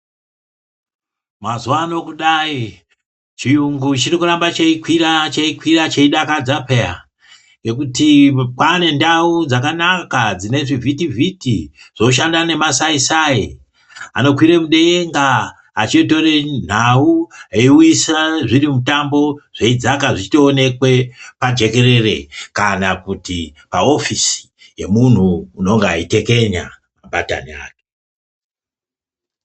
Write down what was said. Mazuvano kudai chiyungu chirikuramba cheikwira cheikwira cheidakadza peya, ngekuti kwane ndau dzakanaka dzine zvivhitivhiti zvoshanda nemasaisai anokwire mudenga achitore nhau eiuyisira zvimutambo zveidzaka zveitoonekwe pajekerere kana kuti paofisi yemhunhu unenge aitekenya mabatani aya .